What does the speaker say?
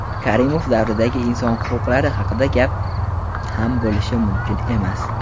Karimov davridagi inson huquqlari haqida gap ham bo‘lishi mumkin emas.